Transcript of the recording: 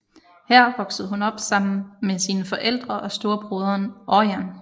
Her voksede hun op sammen med sine forældre og storebroderen Ørjan